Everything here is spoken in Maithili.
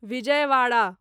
विजयवाड़ा